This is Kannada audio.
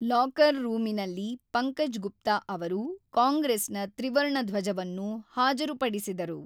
ಲಾಕರ್ ರೂಮಿನಲ್ಲಿ ಪಂಕಜ್ ಗುಪ್ತಾ ಅವರು ಕಾಂಗ್ರೆಸ್ ನ ತ್ರಿವರ್ಣ ಧ್ವಜವನ್ನು ಹಾಜರುಪಡಿಸಿದರು.